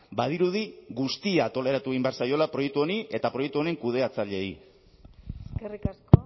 badirudi guztia toleratu egin behar zaiola proiektu honi eta proiektu honen kudeatzaileei eskerrik asko